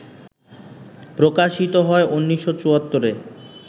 প্রকাশিত হয় ১৯৭৪-এ